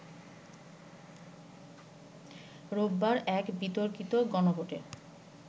রোববার এক বিতর্কিত গণভোটের